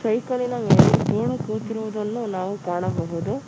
ಸೈಕಲಿನ ಮೇಲೆ ಧೂಳು ಕೂತಿರುವುದನ್ನು ನಾವು ಕಾಣಬಹುದು.